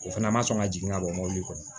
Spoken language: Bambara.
O fana ma sɔn ka jigin ka bɔ mobili kɔnɔ